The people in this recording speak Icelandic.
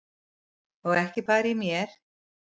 Og ekki bara í mér.